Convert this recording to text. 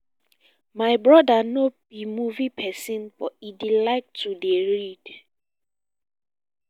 my brother no be movie person but he dey like to dey read